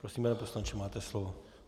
Prosím pane poslanče, máte slovo.